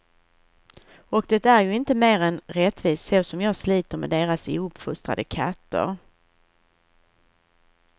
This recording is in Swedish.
Och det är ju inte mer än rättvist så som jag sliter med deras ouppfostrade katter.